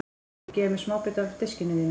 Viltu gefa mér smábita af diskinum þínum?